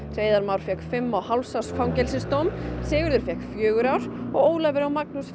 Hreiðar Már fékk fimm og hálfs árs fangelsisdóm Sigurður fjögurra ára og Ólafur og Magnús